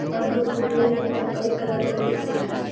और दो ठो जींस है। कई कलर में दिख रहा है।